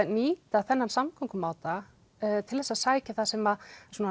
nýta þennan samgöngumáta til þess að sækja það sem